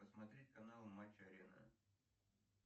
посмотреть канал матч арена